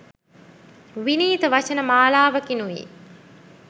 විනීත වචන මාලාවකිනුයි